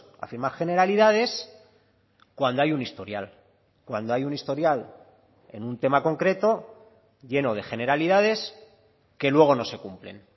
a firmar generalidades cuando hay un historial cuando hay un historial en un tema concreto lleno de generalidades que luego no se cumplen